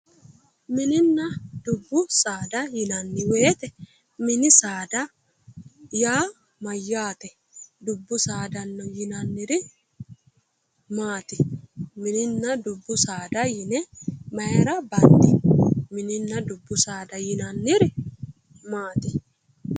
Minninna dubbu saada yinanni weete minni saada yaa mayaatte dubbu saada yinanniri maati minninna dubbu saada yine mayira bandi minninna dubbu saada maati